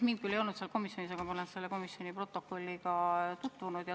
Mind küll ei olnud sellel komisjoni istungil, aga ma olen selle protokolliga tutvunud.